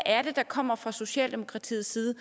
er det der kommer fra socialdemokratiets side